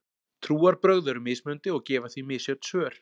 Trúarbrögð eru mismunandi og gefa því misjöfn svör.